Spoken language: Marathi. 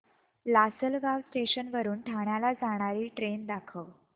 लासलगाव स्टेशन वरून ठाण्याला जाणारी ट्रेन दाखव